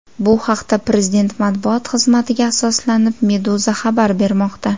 Bu haqda, prezident matbuot xizmatiga asoslanib, Meduza xabar bermoqda .